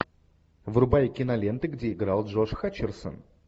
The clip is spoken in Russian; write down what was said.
врубай киноленты где играл джош хатчерсон